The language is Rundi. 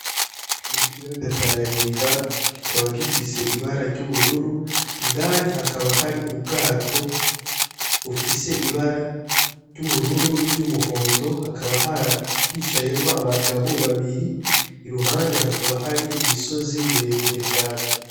Ikiyaga tanganyika kikaba gifise ibara ry'ubururu, indani hakaba hari ubwato bufise ibara ry'ubururu, n'iry'umuhondo hakaba hicayemwo abagabo babiri iruhande hakaba hari imisozi miremire cane.